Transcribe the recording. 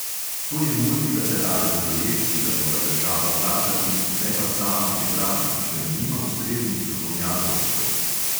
To je multilateralen projekt, ki ga mora država plačati, ne pa sama pripraviti, ker nima ustreznih strokovnjakov za to.